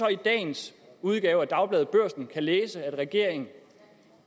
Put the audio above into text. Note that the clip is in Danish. i dagens udgave af dagbladet børsen kan læse at regeringen